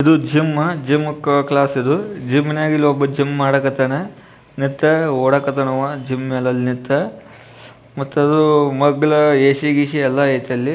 ಇದು gym gym class ಇದು ಜೆಮ್ಮಾನಾಗ್ ಒಬ್ಬ ಜಿಮ್ಮ್ ಮಾಡ್ಲಿಕ್ಕಾಟ್ಟಾನ ಮತ್ತ ಓಡ್ಲಕ್ಕಟ್ಟಾನ ನಿಂತು ಮಟ್ಟ ಮಗ್ಗಲ ಎಸಿ ಗಿಸಿ ಎಲ್ಲಾ ಅಯ್ತಿ